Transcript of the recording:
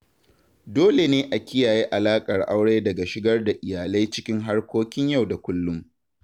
Dole ne a kiyaye alaƙar aure daga shigar da iyalai cikin harkokin yau da kullum.